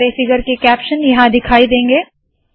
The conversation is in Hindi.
सारे फिगर के कैप्शन यहाँ दिखाई देंगे